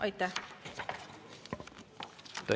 Aitäh!